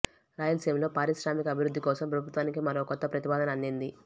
రాయలసీమలో పారిశ్రామిక అభివృద్ధి కోసం ప్రభుత్వానికి మరో కొత్త ప్రతిపాదన అందింది